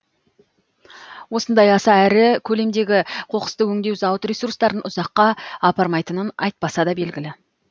осындай аса ірі көлемдегі қоқысты өңдеу зауыт ресурстарын ұзаққа апармайтынын айтпаса да белгілі